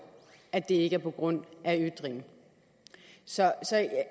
at det ikke er på grund af ytring så